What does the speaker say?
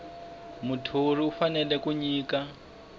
muthori u fanele ku nyika